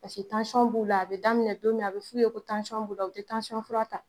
Paseke tansiɔn b'u la, a bɛ daminɛ don min a bɛ f'u ye ko tansiɔn b'u la, u tɛ tansiɔn fura ta!